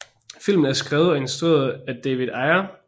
Filmen er skrevet og instrueret af David Ayer